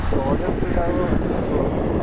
ജോളി ഒക്കെ ഉണ്ടാവേ ഒരുമിച്ച് പോകുമ്പോഴായിരിക്കും